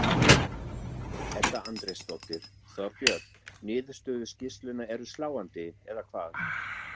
Edda Andrésdóttir: Þorbjörn, niðurstöður skýrslunnar eru sláandi, eða hvað?